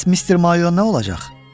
Bəs Mister Mayo nə olacaq?